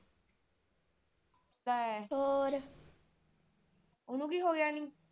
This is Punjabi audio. ਲੈ ਹੋਰ, ਓਹਨੂੰ ਕੀ ਹੋਗਿਆ ਨੀ?